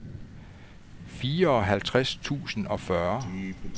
fireoghalvtreds tusind og fyrre